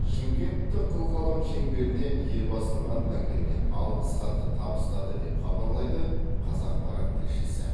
шымкенттік қылқалам шеңберіне елбасының атынан келген алғыс хатты табыстады деп хабарлайды қазақпарат тілшісі